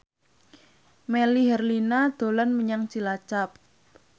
Melly Herlina dolan menyang Cilacap